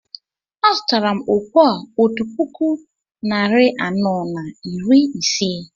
A zụtara m okpu a otu puku narị anọ na iri isii